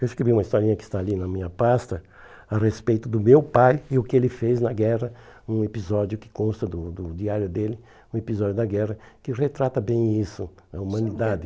Eu escrevi uma historinha que está ali na minha pasta, a respeito do meu pai e o que ele fez na guerra, um episódio que consta do do diário dele, um episódio da guerra, que retrata bem isso, a humanidade.